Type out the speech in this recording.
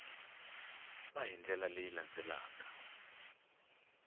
va hi ndlela leyi landzelaka